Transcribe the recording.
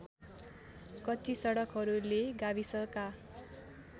कच्ची सडकहरूले गाविसका